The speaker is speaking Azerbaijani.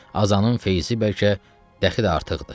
Azanın feyzi bəlkə də xeyli artıqdır.